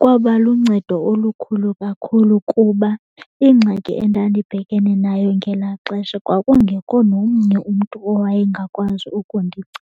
Kwaba luncedo olukhulu kakhulu kuba ingxaki endandibhekene nayo ngelaa xesha kwakungekho nomnye umntu owayengakwazi ukundinceda.